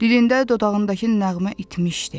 Dilində, dodağındakı nəğmə itmişdi.